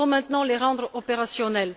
Il faut maintenant les rendre opérationnels.